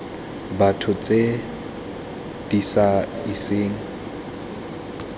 batho tse di sa iseng